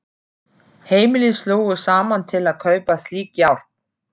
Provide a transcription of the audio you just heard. Heimili slógu saman til að kaupa slík járn.